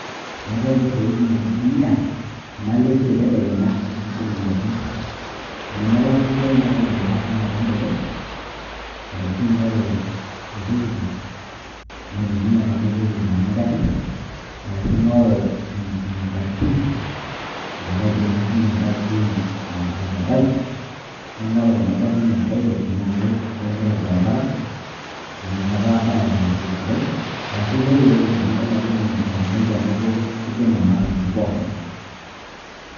Eetae inkoitoi kumok naitumia tenalo esiai tedekenya, eniding'a garrin. Tenemelakwa esiai na kaidim ake ashomo tonkejek, arashu aing'oru oltukutuk, naitumia pamaitoki aitumia garrin. Arashu aing'oru e taxi amu kaidim ake sinye e taxi aitaba. Naing'oru kuna garrin e private ,tenaa keimita orbaribara amu nakata abaya tesidai. Arashu aing'oru erori tenadol ajo matumoki ainoto kiding'a matatuni pookin.